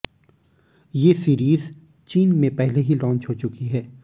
ये सीरीज चीन में पहले ही लॉन्च हो चुकी है